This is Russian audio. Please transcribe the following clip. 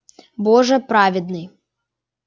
боже праведный